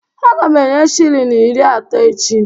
Aga m enye shilling iri atọ echi